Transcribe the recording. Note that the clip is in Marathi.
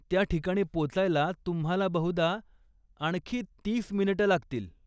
त्या ठिकाणी पोचायला तुम्हाला बहुधा आणखी तीस मिनिटं लागतील.